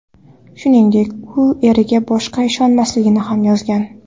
Shuningdek, u eriga boshqa ishonmasligini ham yozgan.